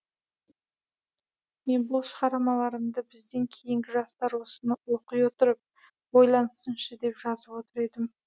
мен бұл шығармаларымды бізден кейінгі жастар осыны оқи отырып ойлансыншы деп жазып отыр едім